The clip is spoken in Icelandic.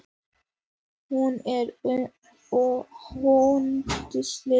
Hún er hundsleg.